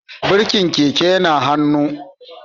Birkin keke yana hannun